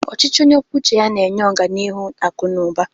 Ọchịchị onye kwuo uche ya na-enye ọganihu akụ na ụba.